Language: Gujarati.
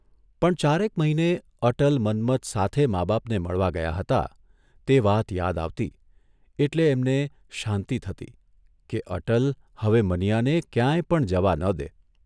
પણ ચારેક મહિને અટલ મન્મથ સાથે મા બાપને મળવા ગયા હતા તે વાત યાદ આવતી એટલે એમને શાંતિ થતી કે અટલ હવે મનીયાને ક્યાંય પણ જવા ન દે.